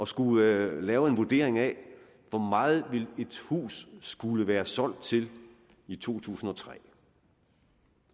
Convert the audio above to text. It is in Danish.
skulle lave en vurdering af hvor meget et hus skulle være solgt til i to tusind og tre